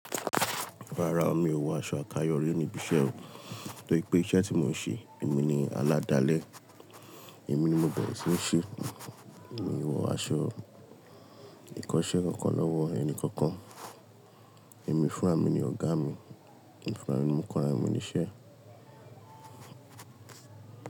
Rárá o, mi ò wọ aṣọ àkayò rí níbi iṣẹ́ o, tórí pé iṣẹ́ tí mò ń ṣe, èmi ni aládalẹ́, èmi ni mo bẹ̀rẹ̀ sí ńi ṣe, èmi wọ aṣọ ìkọṣẹ́ kankan lọ́wọ́ ẹni kankan. Ẹ̀mí fún ràmì ni ọ̀gá mi, ẹ̀mí fún ràmì ni mo kọra mí ní iṣẹ́.